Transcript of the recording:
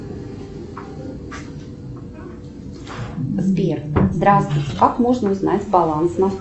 сбер здравствуй как можно узнать баланс на